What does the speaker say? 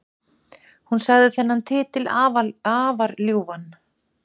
Hún sagði þennan titil afar ljúfan